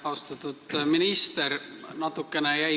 Austatud minister!